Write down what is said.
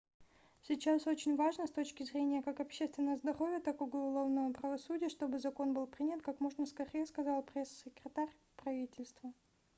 сейчас очень важно с точки зрения как общественного здоровья так и уголовного правосудия чтобы закон был принят как можно скорее - сказал пресс-секретарь правительства